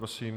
Prosím.